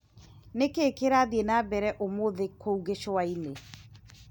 Nĩkĩĩ kĩrathiĩ na mbere ũmũthĩ kũu Gicũa-inĩ ?